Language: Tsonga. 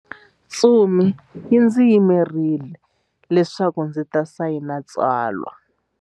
Ntsumi yi ndzi yimerile leswaku ndzi ta sayina tsalwa.